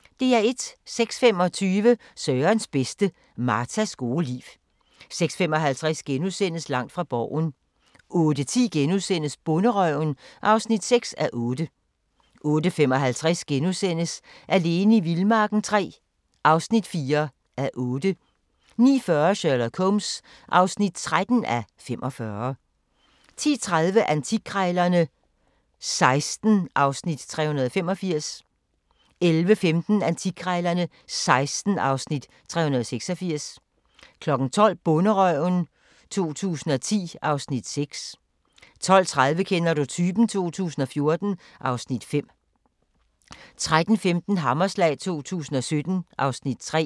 06:25: Sørens bedste: Martas gode liv 06:55: Langt fra Borgen * 08:10: Bonderøven (6:8)* 08:55: Alene i vildmarken III (4:8)* 09:40: Sherlock Holmes (13:45) 10:30: Antikkrejlerne XVI (Afs. 385) 11:15: Antikkrejlerne XVI (Afs. 386) 12:00: Bonderøven 2010 (Afs. 6) 12:30: Kender du typen? 2014 (Afs. 5) 13:15: Hammerslag 2017 (Afs. 3)